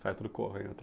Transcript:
Sai tudo correndo